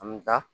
A mi da